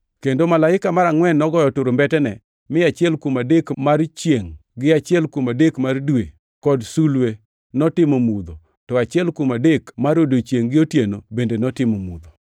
Kendo malaika mar angʼwen nogoyo turumbetene, mi achiel kuom adek mar chiengʼ gi achiel kuom adek mar dwe, kod mar sulwe, notimo mudho, to achiel kuom adek mar odiechiengʼ gi otieno bende notimo mudho.